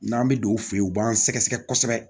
N'an bɛ don u fɛ yen u b'an sɛgɛsɛgɛ kosɛbɛ